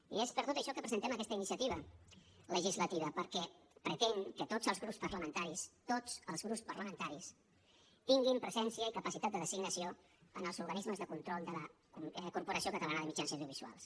i és per tot això que presentem aquesta iniciativa legislativa perquè pretén que tots els grups parlamentaris tots els grups parlamentaris tinguin presència i capacitat de designació en els organismes de control de la corporació catalana de mitjans audiovisuals